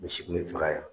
Misi kun bɛ faga yan